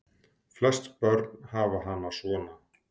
Flest börn hafa hana svona